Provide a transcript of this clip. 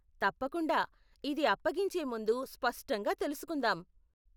తప్పకుండా, ఇది అప్పగించే ముందు స్పష్టంగా తెలుసుకుందాం.